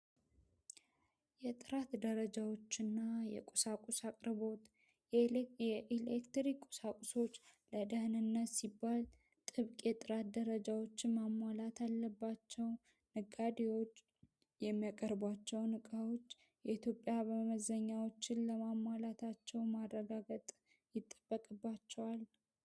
የጥራት ደረጃዎች እና የቁሳቁስ አቅርቦዎት የኤሌክትሪክ ቁሳቁሶች ለደህን ነት ሲባል ጥብቅ የጥራት ደረጃዎችን ማማላት አለባቸው ። ነጋዴዎች የሚያቀርቧቸው ንቃዎች የኢትዮጵያ በመዘኛዎችን ለማማላታቸው ማድረጋገጥ ይጠበቅባቸዋል።